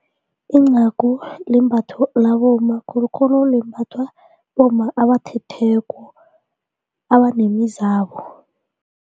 Incagu limbatho labomma khulukhulu limbathwa bomma abathethweko abanemizabo.